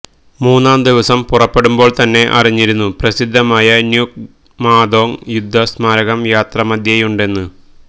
മൂന്നാം ദിവസം പുറപ്പെടുമ്പോള്തന്നെ അറിഞ്ഞിരുന്നു പ്രസിദ്ധമായ ന്യുക്ക്മാദോങ് യുദ്ധ സ്മാരകം യാത്രാമധ്യേയുണ്ടെന്ന്